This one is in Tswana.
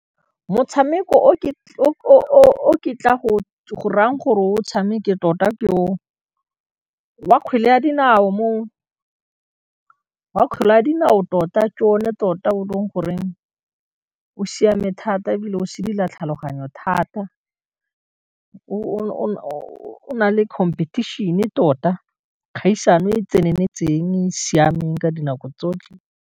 Motshameko o ke tla go rayang gore o tshameke tota, wa kgwele ya dinao tota ke one tota o e leng go reng o siame thata, e bile o sedila tlhaloganyo thata, o na le competition-e tota kgaisano e tseneletseng siameng ka dinako tsotlhe.